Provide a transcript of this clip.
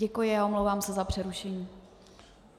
Děkuji a omlouvám se za přerušení.